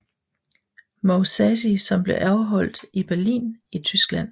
Mousasi som blev afholdt i Berlin i Tyskland